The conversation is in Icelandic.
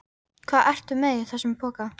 Hvað ertu með í þessum poka?